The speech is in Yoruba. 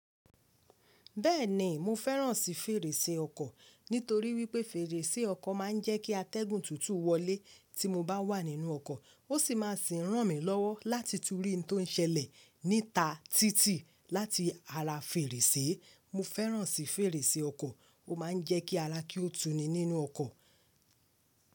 Bẹ́ẹ̀ni, mo fẹ́ràn sí fèrèsé ọkọ̀. Nítorí wípé fèrèsé ọkọ̀ máa ń jẹ́ kí atẹ́gùn tútù wọlé tí mo bá wà nínú ọkọ̀. Ó sì máa sì ń ràn mí lọ́wọ́ láti tún rí n tó ń ṣẹlẹ̀ níta títì láti ara fèrèsé. Mo fẹ́ràn sí fèrèsé ọkọ̀, ó ma ń jẹ́ kí ara kí ó tuni nínú ọkọ̀.